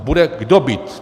A bude koho bít.